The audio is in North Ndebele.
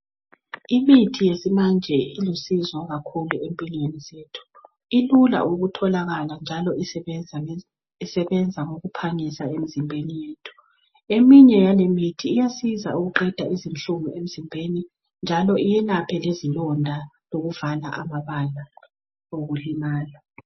Imithi yesimanje ilusizo kakhulu empilweni zethu ilula ukutholakala njalo isebenza ngokuphangisa emzimbeni yethu, eminye yalemithi iyasiza ukuqeda izinhlungu emzimbeni njalo iyelapha lezilonda lokuvala amabala okulimala.